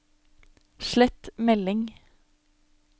slett melding